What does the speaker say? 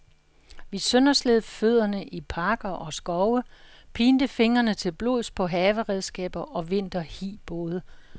Vi søndersled fødderne i parker og skove, pinte fingrene til blods på haveredskaber og vinterhibåde.